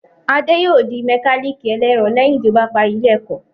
Adé yòó di mẹkálíkì ẹlẹ́ẹ̀rọ lẹ́yìn tí ó bá parí ilé ẹ̀kọ́